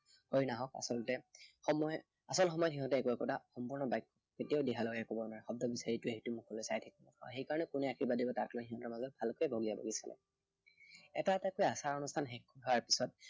কৰি নাহক আচলতে সময়ত, আচল সময়ত সিহঁতে একো একোটা সম্পূৰ্ণ বাক্য় কেতিয়াও দিহা লগাই কব নোৱাৰে। শব্দ বিচাৰি ইটোৱে সিটোৰ মুখলৈ চাই থাকে। সেই কাৰণে কোনে আৰ্শীবাদ দিব তাক লৈ সিহঁতৰ মাজত ভালকৈয়ে অঁৰিয়াঅৰি চলে। এটা এটাকৈ আচাৰ অনুষ্ঠান শেষ হোৱাৰ পিছত